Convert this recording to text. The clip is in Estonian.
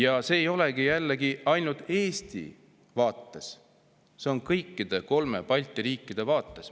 See küsimus ei olegi jällegi ainult Eesti vaates, see on kõigi kolme Balti riigi vaates.